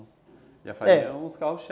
E a farinha é um dos carros-chefe